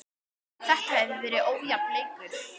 Þetta hefur verið ójafn leikur.